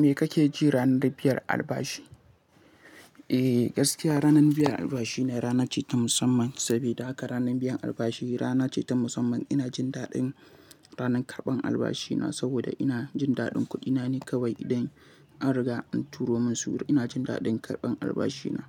Me kake ji ranar biyar albashi? Eh, gaskiya ranar biyar albashi ne rana ce ta musamman. Saboda haka ranar biyan albashi rana ce ta musamman. Ina jin daɗin ranar karɓan albashina saboda ina jin daɗin kuɗina ne kawai idan an riga an turo min suru. Ina jin daɗin karɓan albashi na.